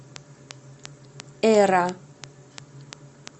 эра